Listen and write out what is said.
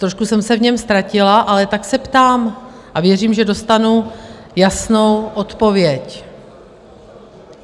Trošku jsem se v něm ztratila, ale tak se ptám a věřím, že dostanu jasnou odpověď.